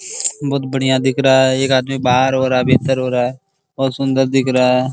बहुत बढ़िया दिख रहा है एक आदमी बाहर हो रहा भीतर हो रहा है बहुत सुन्दर दिख रहा है।